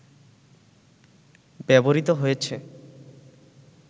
ব্যবহৃত হয়েছে